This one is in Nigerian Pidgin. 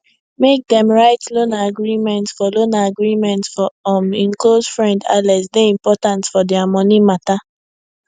make dem write loan agreement for loan agreement for um hin close friend alex dey important for their money matter